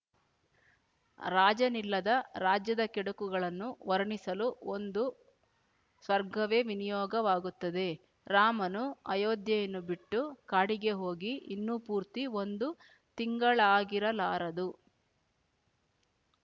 ರಾಜನಿಲ್ಲದ ರಾಜ್ಯದ ಕೆಡುಕುಗಳನ್ನು ವರ್ಣಿಸಲು ಒಂದು ಸರ್ಗವೇ ವಿನಿಯೋಗವಾಗುತ್ತದೆ ರಾಮನು ಅಯೋಧ್ಯೆಯನ್ನು ಬಿಟ್ಟು ಕಾಡಿಗೆ ಹೋಗಿ ಇನ್ನೂ ಪೂರ್ತಿ ಒಂದು ತಿಂಗಳಾಗಿರಲಾರದು